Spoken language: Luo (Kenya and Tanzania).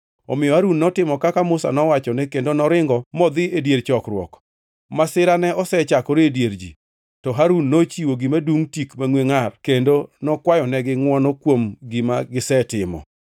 Omiyo Harun notimo kaka Musa nowachone, kendo noringo modhi e dier chokruok. Masira ne osechakore e dier ji, to Harun nochiwo gima dungʼ tik mangʼwe ngʼar kendo nokwayonegi ngʼwono kuom gima gisetimo.